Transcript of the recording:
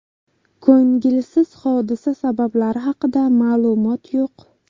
Ko‘ngilsiz hodisa sabablari haqida ma’lumot yo‘q.